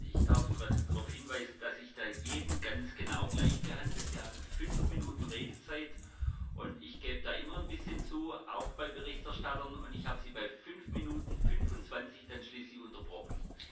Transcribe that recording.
Ich darf darauf hinweisen, dass ich da jeden ganz genau gleich behandele. Sie hatten fünf Minuten Redezeit, und ich gebe da immer ein bisschen zu, auch bei Berichterstattern, und ich habe Sie bei fünf Minuten und 25 Sekunden dann schließlich unterbrochen.